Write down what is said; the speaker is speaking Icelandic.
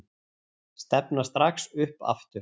Stefna strax upp aftur